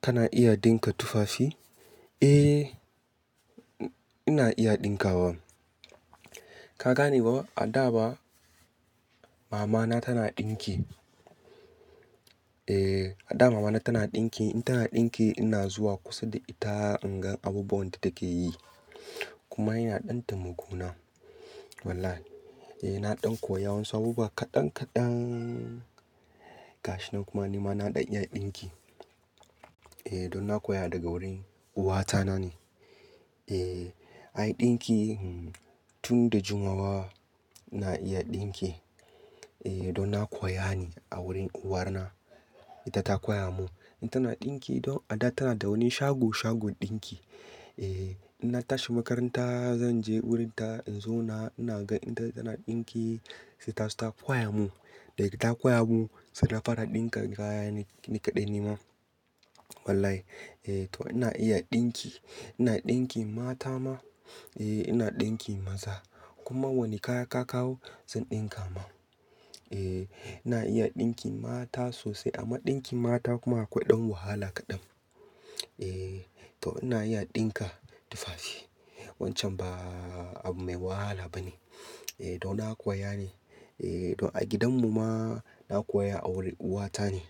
Kana iya dinka tufafi? Eh, ina iya ɗinkawa. Ka gane ba? A da ba mama na tana ɗinki. Eh, a da mama na tana ɗinki, in tana ɗinki ina zuwa kusa da ita in ga abubuwan da take yi. Kuma ina ɗan temakona Wallahi. Eh, na ɗan koya wasu abubuwa kaɗan kaɗan gashinan kuma ni ma na ɗan iya ɗinki. Eh, don na koya daga wurin uwata na ne. Eh, ai ɗinki hmm tun da jimawa ina iya ɗinki. Eh, don na koya ne a wurin uwar na. Ita ta koya mun. In tana ɗinki don a da tana da wani shago shagon ɗinki. Eh, in na tashi makaranta zan je wurin ta in zo na, ina gan ita tana ɗinki sai ta, ta koya mun. Da ita ta koya mun sai na fara ɗinka kaya nikaɗai ni ma. Wallahi. Eh, to ina iya ɗinki. Ina ɗinki mata ma, eh ina ɗinki maza. Kuma wani kaya ka kawo zan ɗinka ma. Eh, ina iya ɗinki mata sosai amma ɗinkin mata kuma akwai ɗan wahala kaɗan. Eh, to ina iya ɗinka tufafi. Wancan ba abu mai wahala ba ne. Eh, don na koya ne. Eh, don a gidan mu ma na koya a wurin uwata ne.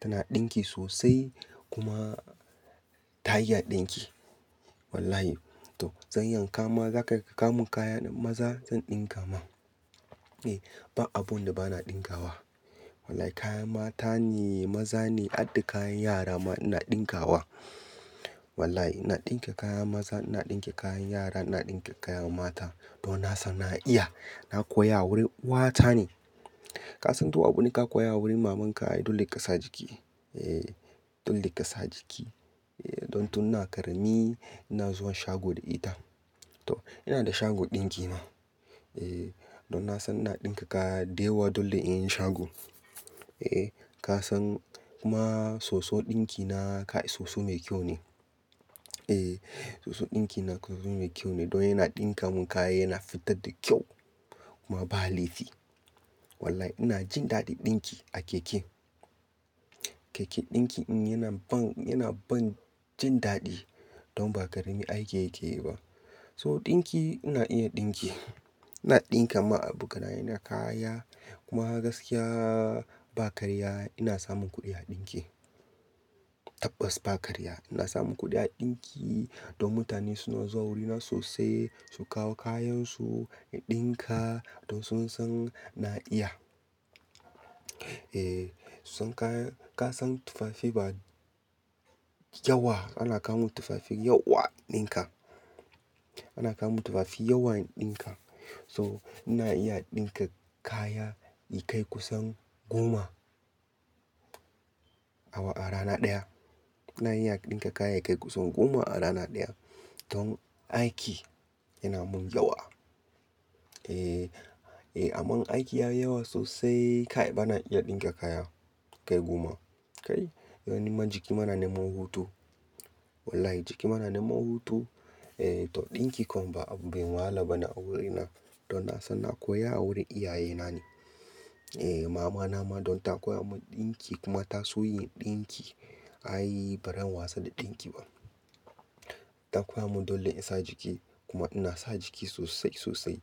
Tana ɗinki sosai kuma ta iya ɗinki. Wallahi. To zan yanka ma za ka ka ka mun kaya ɗin maza zan ɗinka ma. Eh, ba abun da ba na ɗinkawa. Wallahi kayan mata ne, maza ne, har da kayan yara ma ina ɗinkawa. Wallahi ina ɗinke kayan maza, ina ɗinke kayan yara, ina ɗinke kayan mata. Don na san na iya. Na koya a wurin uwata ne. Ka san to abune ka koya a wurin maman ka dole kasa jiki. Eh, don leƙasa jiki. Eh, don tun na ƙarami ina zuwa shago da ita. To ina da shagon ɗinki ma. Eh, don na san ina ɗinka kaya da yawa dole in yi shago. Eh, ka san kuma soso ɗinki na kai soso mai kyau ne. Eh, soso ɗinki na soso mai kyau ne don yana ɗinka mun kaya yana fitar da kyau kuma ba laifi. Wallahi ina jin daɗin ɗinki a keke. Keke ɗinki in yana ban, yana ban jin daɗi don ba ƙarami aiki yake yi ba. So ɗinki ina iya ɗinki. Ina ɗinka ma abokanaye na kaya kuma gaskiya ba karya ina samun kuɗi a ɗinki. Tabbas ba karya ina samun kuɗi a ɗinki don mutane suna zuwa wurina sosai su kawo kayan su in ɗinka don sun san na iya. Eh, sun ka, ka san tufafi ba yawa ana kawo tufafi yawa in ɗinka. Ana kawo tufafi yawa in ɗinka. So ina iya ɗinka kaya kai kusan goma a rana ɗaya. Ina iya ɗinka kaya kai kusan goma a rana ɗaya. Don aiki yana mun yawa. Eh, eh amma aiki yayi yawa sosai kai bana iya ɗinka kaya kai goma. Kai, don niman jiki ma na neman hutu. Wallahi jiki mana niman hutu. Eh, to ɗinki kom ba abu mai wahala ba ne a wurin na. Don na san na koya a wurin iyaye na ne. Eh, mama na ma don ta koya mun ɗinki kuma ta so yin ɗinki. Ai ba ran wasa da ɗinki ba. Ta koya mun dole in sa jiki kuma ina sa jiki sosai sosai.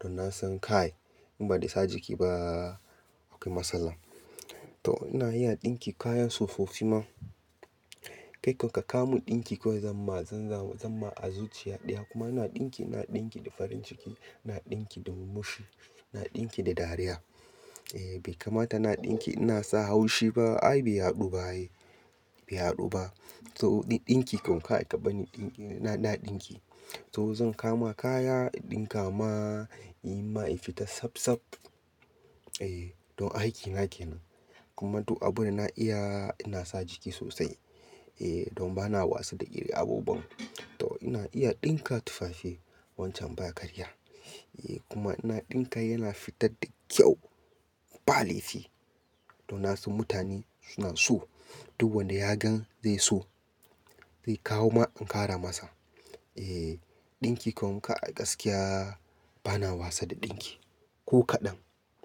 Don na san kai in ba de sa jiki ba akwai matsala. To ina iya ɗinki kaya tsofaffi ma. Kai kom ka ka mun ɗinki kawai zan ma, zan ma, zan ma azuciya ɗaya kuma ina ɗinki, ina ɗinki da farin ciki, ina ɗinki da murmushi, ina ɗinki da dariya. Eh bai kamata ina ɗinki ina sa haushi ba. Ai bai haɗu ba ai. Bai haɗu ba. To did ɗinki kom kai kaban ni ɗinki ina da ɗinki. To zan kama kaya in ɗinka ma inyi ma ya fita safsaf. Eh, don aiki nake nan. Kuma du abunda na iya ina sa jiki sosai. Eh, don bana wasa da irin abubuwan. To ina iya ɗinka tufafi wancan ba karya. Eh kuma ina ɗinka yana fitar da kyau ba laifi. Don na san mutane suna so. Duk wanda ya gan zai so zai kawo ma in ƙara masa. Eh, ɗinki kom kai gaskiya bana wasa da ɗinki ko kaɗan.